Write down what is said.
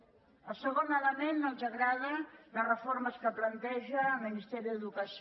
en el segon element no ens agraden les reformes que planteja el ministeri d’educació